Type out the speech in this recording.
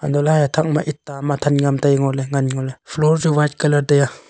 hantoh ley haye thak ma eta ma tham ngam tai ngo ley ngan ngo ley floor chu white colour tai a.